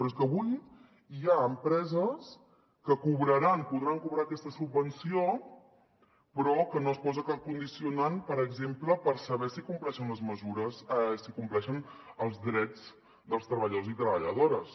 però és que avui hi ha empreses que cobraran podran cobrar aquesta subvenció però que no es posa cap condicionant per exemple per saber si compleixen els drets dels treballadors i treballadores